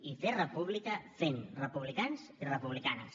i fer república fent republicans i republicanes